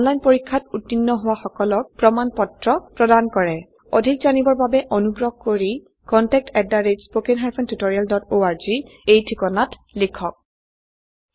এটা অনলাইন পৰীক্ষাত উত্তীৰ্ণ হোৱা সকলক প্ৰমাণ পত্ৰ প্ৰদান কৰে অধিক জানিবৰ বাবে অনুগ্ৰহ কৰি contactspoken tutorialorg এই ঠিকনাত লিখক